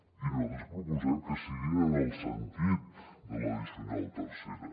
i nosaltres proposem que siguin en el sentit de l’addicional tercera